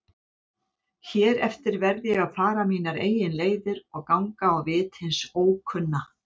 Hér eftir verð ég að fara mínar eigin leiðir og ganga á vit hins ókunna.